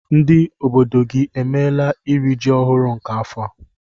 Ndị obodo gị emeela iri ji ọhụrụ nke afọ a?